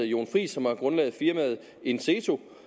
jon friis som er grundlægger af firmaet inseeto